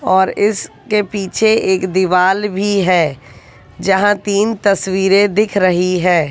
और इसके पीछे एक दीवाल भी है जहां तीन तस्वीरे दिख रही है।